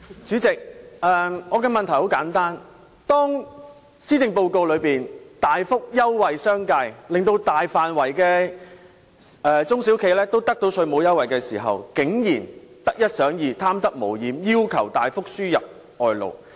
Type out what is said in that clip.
主席，我的問題很簡單，施政報告大幅優惠商界，令大範圍的中小企得到稅務優惠，但他們竟然得一想二、貪得無厭，要求大幅輸入外勞。